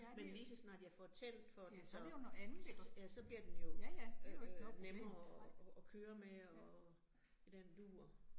Men ligeså snart jeg får tændt for den så, så ja så bliver den jo øh øh nemmere at køre med og i den dur